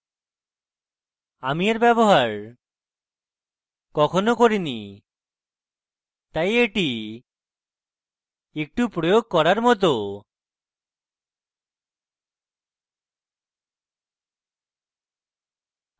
আমি এর ব্যবহার কখনো করিনি তাই এটি একটু প্রয়োগাত্মক